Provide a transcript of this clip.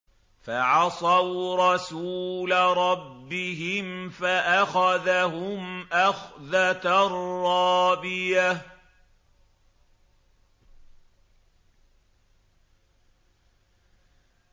فَعَصَوْا رَسُولَ رَبِّهِمْ فَأَخَذَهُمْ أَخْذَةً رَّابِيَةً